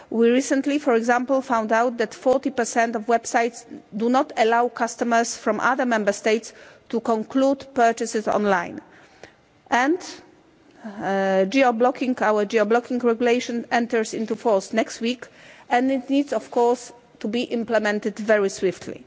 We recently, for example, found out that 40 of websites do not allow customers from other Member States to conclude purchases online. Geo blocking our geo blocking regulation enters into force next week, and it needs to be implemented very swiftly.